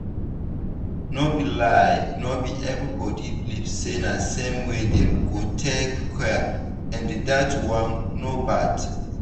no be lie no be everybody believe say na same way dem go take cure and dat one no bad.